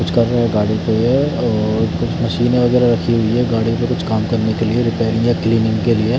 गाडी का ये और कुछ मशीने वगैरा रखी हुई हैं गाडी क कुछ काम करने के लिए रेपेयरिंग या क्लीनिंग के लिए --